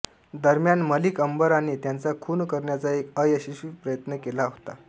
दरम्यान मलिक अंबराने त्यांचा खून करण्याचा एक अयशस्वी प्रयत्न केला होता